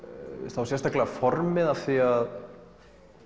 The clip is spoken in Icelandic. þá sérstaklega formið af því að